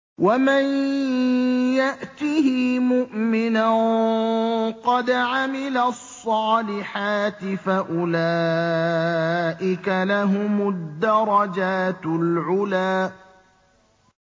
وَمَن يَأْتِهِ مُؤْمِنًا قَدْ عَمِلَ الصَّالِحَاتِ فَأُولَٰئِكَ لَهُمُ الدَّرَجَاتُ الْعُلَىٰ